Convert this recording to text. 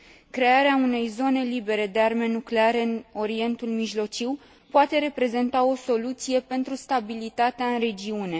Crearea unei zone libere de arme nucleare în Orientul Mijlociu poate reprezenta o soluție pentru stabilitatea în regiune.